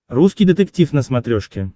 русский детектив на смотрешке